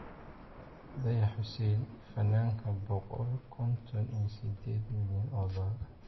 Dayax xussein - Fananka boqol konton iyo sideed milyan o dolar.